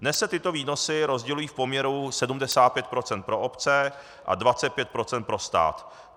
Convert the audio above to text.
Dnes se tyto výnosy rozdělují v poměru 75 % pro obce a 25 % pro stát.